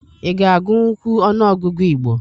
Ị ga-agunkwu ọnụọgụgụ Igbo?